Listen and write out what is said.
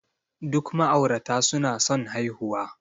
Duk ma'aurata suna son haihuwa.